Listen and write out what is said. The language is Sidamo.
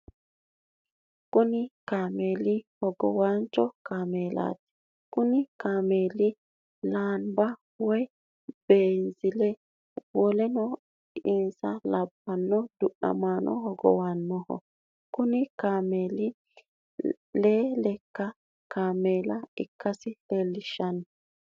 Kunni kaameelu hogowaancho kaameelaati. Konni kaameeli laanba woyi beezile woleno insa labano du'namaano hogonbanniho. Kunni kaameeli lee laka kaameela ikasi leelishano.